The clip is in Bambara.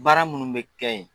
Baara minnu bɛ kɛ yen